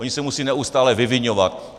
Oni se musejí neustále vyviňovat.